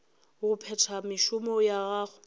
go phetha mešomo ya gagwe